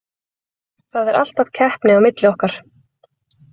Það er alltaf keppni á milli okkar.